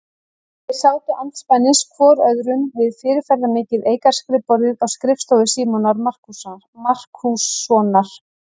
Þeir sátu andspænis hvor öðrum við fyrirferðarmikið eikarskrifborðið á skrifstofu Símonar Markússonar.